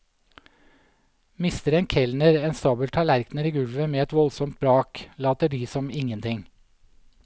Mister en kelner en stabel tallerkener i gulvet med et voldsomt brak, later de som ingenting.